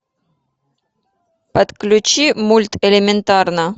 подключи мульт элементарно